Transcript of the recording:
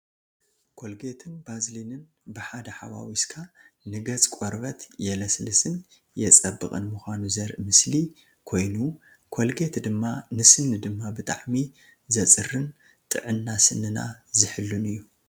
ኮልጌትን ባዝሊንን ብሓደ ሓዋዊስካ ንገፅ ቆርበት የልስልስን የፀብቅን ምኳኑ ዘርኢ ምስሊ ኮይኑ ኮልጌት ድማ ንስኒ ድማ ብጣዕሚ ዘፅርን ጥዕና ስኒና ዝሕሉን እዩ።